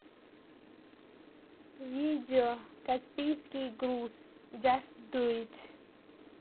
видео каспийский груз джаст ду ит